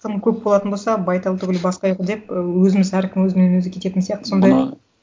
тым көп болатын болса байтал түгіл бас қайғы деп ы өзіміз әркім өзімен өзі кететін сияқты сондай